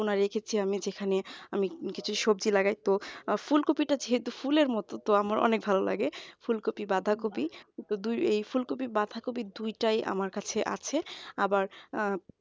একটা কোনা রেখেছি আমি যেখানে আমি কিছু সবজি লাগাই তো ফুলকপিটা যেহেতু ফুলের মতন তাই আমার অনেক ভালো লাগে ফুলকপি বাঁধাকপি তো দুই এ ফুলকপি বাঁধাকপি দুইটাই আমার কাছে আছে আবার অ্যাঁ